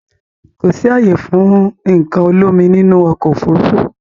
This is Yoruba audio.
Kò sì ààyè fún nǹkan olómi nínú ọkọ̀ Òfurufú